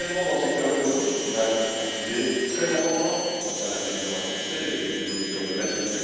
Le secteur automobile va également être un sujet très important en ce qui concerne l'intelligence artificielle et les prises de décisions automatiques.